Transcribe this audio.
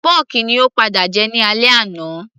pọ́kì ni ó padà jẹ ní alẹ́ àná